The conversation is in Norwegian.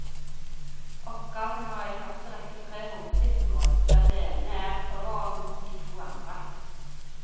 Oppgaven har i første rekke tre hovedsiktemål der det ene er overordnet de to andre.